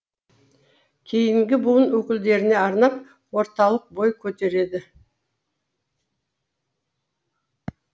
кейінгі буын өкілдеріне арнап орталық бой көтерді